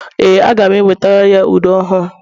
ee, aga m enwetara ya ude ọhụrụ